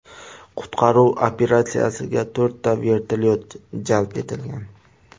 Qutqaruv operatsiyasiga to‘rtta vertolyot jalb etilgan.